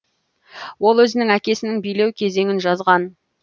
ол өзінің әкесінің билеу кезеңін жазған